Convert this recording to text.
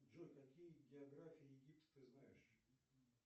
джой какие географии египта ты знаешь